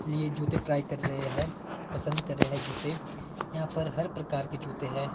लिए जूते ट्राई कर रहे हैं पसंद करें हैं जूते यहां पर हर प्रकार के जूते है।